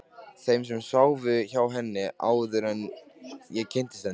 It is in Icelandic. Þeim sem sváfu hjá henni, áður en ég kynntist henni.